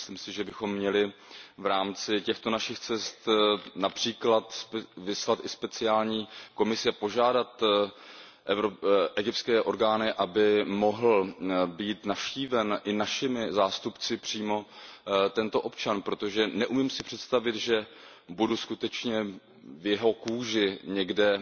Myslím si, že bychom měli v rámci těchto našich cest například vyslat i speciální komise, požádat egyptské orgány, aby mohl být navštíven i našimi zástupci přímo tento občan, protože si neumím představit, že budu skutečně v jeho kůži někde